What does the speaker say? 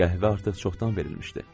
Qəhvə artıq çoxdan verilmişdi.